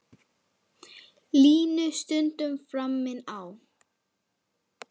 Línu stundum framinn á.